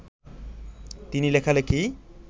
তিনি লেখালেখি